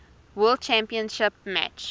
world championship match